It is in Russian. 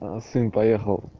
а сын поехал